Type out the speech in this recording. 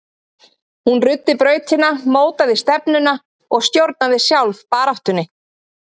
Hún ruddi brautina, mótaði stefnuna og stjórnaði sjálf baráttunni.